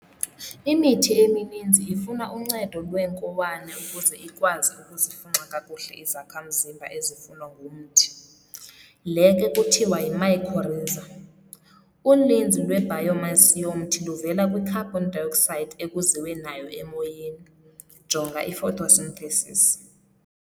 Imithi emininzi ifuna uncedo lweenkowane ukuze ikwazi ukuzifunxa kakuhle izakha mzimba ezifunwa ngumthi- le ke kuthiwa yimycorrhiza. Uninzi lwe-biomass yomthi luvela kwicarbon dioxide ekuziwe nayo emoyeni, jonga iphotosynthesis.